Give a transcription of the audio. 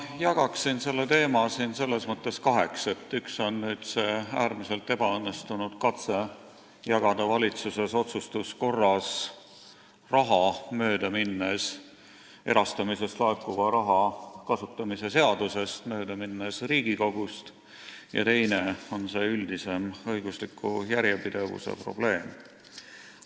Ma jagaksin selle teema siin kaheks: esiteks see äärmiselt ebaõnnestunud katse jagada valitsuses otsustuskorras raha, mööda minnes erastamisest laekuva raha kasutamise seadusest, mööda minnes Riigikogust, ja teiseks see üldisem õigusliku järjepidevuse probleem.